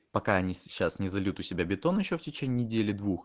пока они сейчас не зальют у себя бетон ещё в течение недели двух